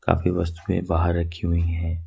काफी वस्तुएं बाहर रखी हुई है।